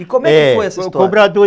E como é que foi essa história?